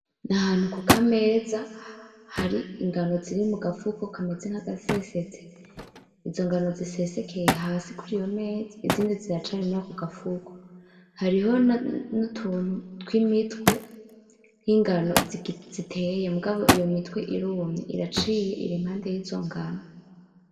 Ndi ahantu kukameza, hari ingano ziri mugafuko kameze kameze nk'agasesetse. Izo ngano zisesekeye hasi kuriyo meza, izindi ziracari murako gafuko. Hariho n'utuntu tw'imitwe y'ingano ziteye, ariko iyo mitwe irumye, iraciye iri iruhande y'izo ngano.